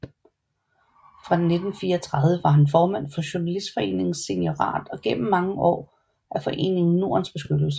Fra 1934 var han formand for Journalistforeningens seniorat og gennem mange år medlem af Foreningen Nordens bestyrelse